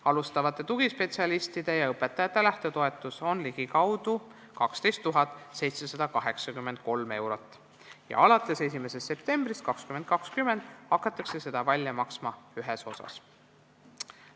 Alustavate tugispetsialistide ja õpetajate lähtetoetus on 12 783 eurot ja alates 1. septembrist 2020 hakatakse seda välja maksma ühes osas.